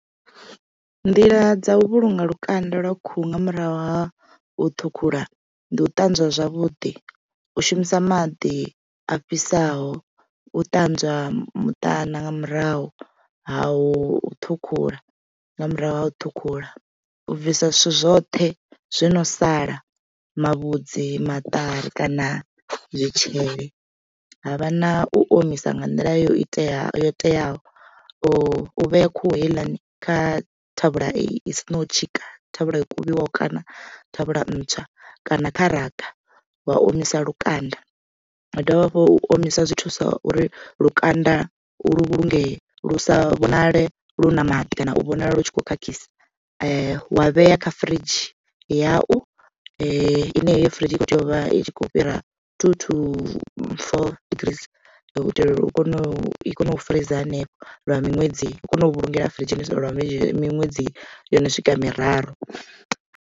Nḓila dza u vhulunga lukanda lwa khuhu nga murahu ha u ṱhukhula ndi u ṱanzwa zwavhuḓi u shumisa maḓi a fhisaho u ṱanzwa muṱana nga murahu ha u ṱhukhula nga murahu ha u ṱhukhula. U bvisa zwithu zwoṱhe zwo no sala mavhudzi, maṱari kana zwitzhili havha na u omisa nga nḓila yo iteaho yo teaho u vhea khuhu heiḽani kha thavhula i si naho tshika thavhula yo kuvhiwaho kana thavhula ntswa kana kha raga wa omisa lukanda ha dovha hafhu u omisa zwi thusa uri lukanda lu vhulungee lu sa vhonale lu na maḓi kana u vhonala lu tshi kho khakhisa. Wa vhea kha firidzhini yau ine heyo firidzhi i kho tea u vha i khou fhira two to four degrees u itela uri u kone u i kone u furiza hanefho lwa miṅwedzi hu kone u vhulungela furidzhini lwa miṅwedzi yono swika miraru.